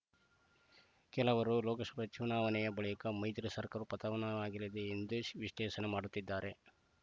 ಕೆಲವರು ಲೋಕಸಭೆ ಚುನಾವಣೆ ಬಳಿಕ ಮೈತ್ರಿ ಸರ್ಕಾರವು ಪತನವಾಗಲಿ ಎಂದು ವಿಶ್ಲೇಷಣೆ ಮಾಡುತ್ತಿದ್ದಾರೆ